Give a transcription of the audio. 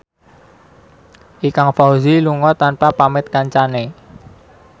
Ikang Fawzi lunga tanpa pamit kancane